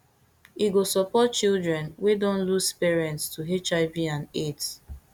e go support children wey don lose parents to hiv and aids